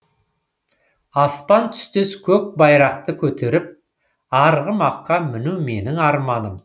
аспан түстес көк байрақты көтеріп арғымаққа міну менің арманым